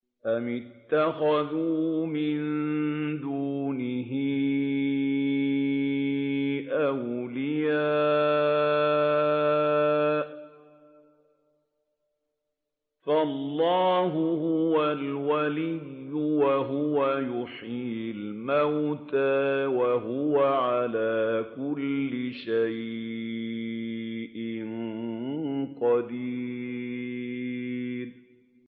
أَمِ اتَّخَذُوا مِن دُونِهِ أَوْلِيَاءَ ۖ فَاللَّهُ هُوَ الْوَلِيُّ وَهُوَ يُحْيِي الْمَوْتَىٰ وَهُوَ عَلَىٰ كُلِّ شَيْءٍ قَدِيرٌ